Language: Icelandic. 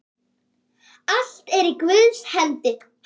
Allt er í Guðs hendi.